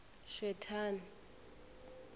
swethani